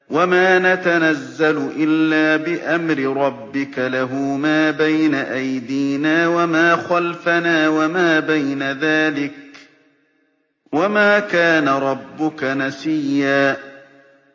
وَمَا نَتَنَزَّلُ إِلَّا بِأَمْرِ رَبِّكَ ۖ لَهُ مَا بَيْنَ أَيْدِينَا وَمَا خَلْفَنَا وَمَا بَيْنَ ذَٰلِكَ ۚ وَمَا كَانَ رَبُّكَ نَسِيًّا